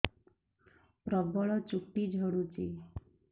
ପ୍ରବଳ ଚୁଟି ଝଡୁଛି